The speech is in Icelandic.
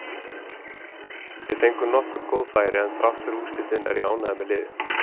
Við fengum nokkur góð færi, en þrátt fyrir úrslitin er ég ánægður með liðið.